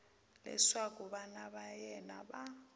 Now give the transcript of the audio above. leswaku vana va yena va